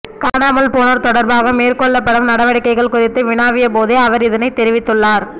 காணாமல்போனோர் தொடர்பாக மேற்கொள்ளப்படும் நடவடிக்கைகள் குறித்து வினவியபோதே அவர் இதனைத் தெரிவித்துள்ளார்